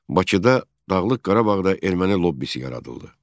Bakıda, Dağlıq Qarabağda erməni lobbisi yaradıldı.